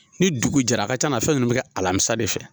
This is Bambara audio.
Ni dugu jɛra a ka ca la fɛn nunnu bi kɛ alamisa de fɛ.